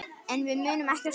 En við munum ekkert stoppa.